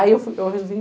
Aí eu fui eu resolvi